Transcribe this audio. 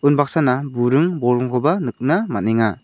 unbaksana buring bolgrimkoba nikna man·enga.